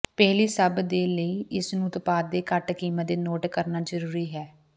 ਪਹਿਲੀ ਸਭ ਦੇ ਲਈ ਇਸ ਨੂੰ ਉਤਪਾਦ ਦੇ ਘੱਟ ਕੀਮਤ ਦੇ ਨੋਟ ਕਰਨਾ ਜ਼ਰੂਰੀ ਹੈ